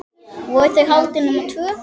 Voru þau haldin nema tvö?